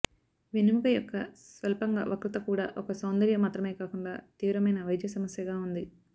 వెన్నెముక యొక్క స్వల్పంగా వక్రత కూడా ఒక సౌందర్య మాత్రమే కాకుండా తీవ్రమైన వైద్య సమస్యగా ఉంది